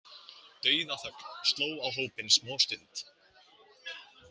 Dauðaþögn sló á hópinn smástund.